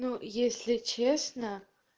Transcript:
ну если честно